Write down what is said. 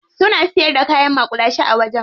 Suna siyar da kayan maƙulashe a wajen.